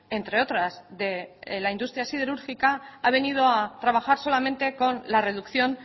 entre otras de la industria siderúrgica ha venido a trabajar solamente con la reducción